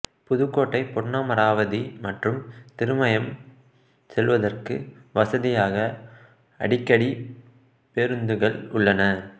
புதுக்கோட்டைபொன்னமராவதி மற்றும் திருமயம் செல்வதற்கு வசதியாக அடிக்கடி பேருந்துகள் உள்ளன